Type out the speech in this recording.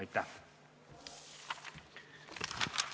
Aitäh!